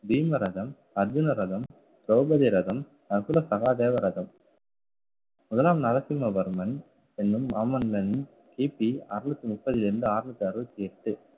பீமரதம் அர்ஜுன ரதம், திரௌபதி ரதம் நகுல சகாதேவ ரதம் முதலாம் நரசிம்மவர்மன் என்னும் மாமன்னன் கி பி அறநூத்தி முப்பதில் இருந்து அறுநூத்தி அறுபத்தி எட்டு